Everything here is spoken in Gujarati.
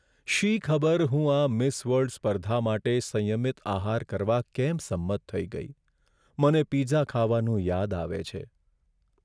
શી ખબર હું આ મિસ વર્લ્ડ સ્પર્ધા માટે સંયમિત આહાર કરવા કેમ સંમત થઈ ગઈ. મને પિઝા ખાવાનું યાદ આવે છે.